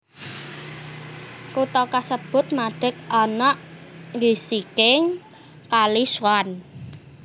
Kutha kasebut madeg ana ing gisiking Kali Swan